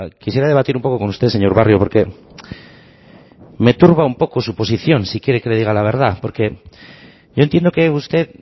quisiera debatir un poco con usted señor barrio porque me turba un poco su posición si quiere que le diga la verdad porque yo entiendo que usted